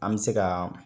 An bɛ se ka